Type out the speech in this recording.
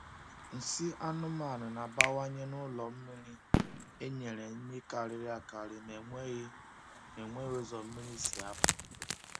Nsị anụmanụ na-abawanye n’ụlọ mmiri e nyere nri karịrị akarị ma enweghị ma enweghị ụzọ mmiri si apụ.